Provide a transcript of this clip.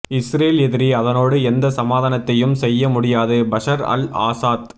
Israel எதிரி அதனோடு எந்த சமாதானத்தையும் செய்ய முடியாது பஷர் அல் ஆசாத்